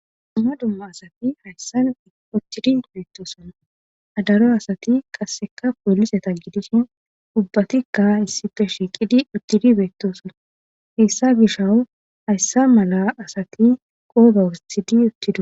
Dumma dumma asati hayssan uttidi beettosona adaro asati qasseka poolliseta gidishin ubbatikka issife shiiqidi uttidi beettosona hessa gishaw hayssa mala asati qooba wustidi uttida